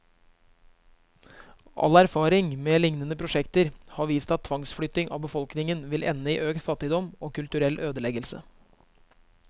All erfaring med lignende prosjekter har vist at tvangsflytting av befolkningen vil ende i økt fattigdom, og kulturell ødeleggelse.